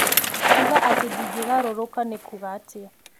kuuga atĩ ndingĩgarũrũka nĩ kuuga atĩa